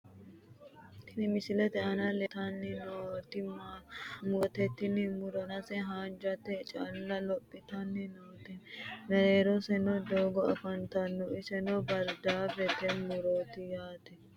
Tini misilete aana leeltanni nooti murote. tini muro danase haanjate xaalla lophitanni noote, mereeroseenni doogo afantanno, iseno bardaafete muroooti yaate ha.